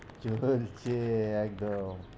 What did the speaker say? চলছে একদম।